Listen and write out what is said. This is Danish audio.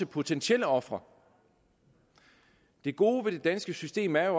potentielle ofre det gode ved det danske system er